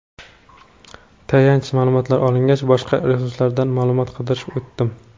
Tayanch ma’lumotlar olingach, boshqa resurslardan ma’lumot qidirishga o‘tdim.